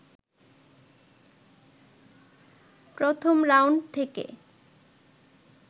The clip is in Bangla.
প্রথম রাউন্ড থেকে